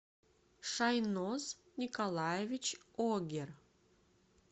шайноз николаевич огер